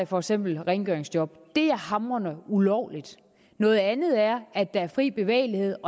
for eksempel rengøringsjob det er hamrende ulovligt noget andet er at der er fri bevægelighed